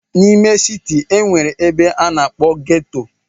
N'ime siti, e nwere ebe a na-akpọ ghetto.